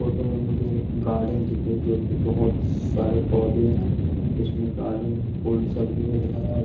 Photo में मुझे एक गार्डन दिख रही जो कि बहुत सारे पौधे हैं उसमें गार्डन फूल सब रेड हैं।